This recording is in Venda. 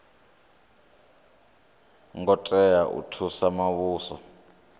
ngo tea u thusa muvhuso